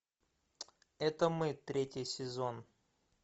это мы третий сезон